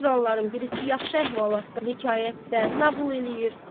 bu oturanların birisi yaxşı əhvalatdan, hekayətdən nağıl eləyir.